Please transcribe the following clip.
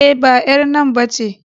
E, ba ƴar nan ba ce.